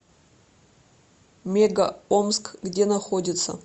мега омск где находится